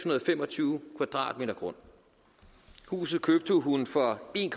og fem og tyve m² grund huset købte hun for en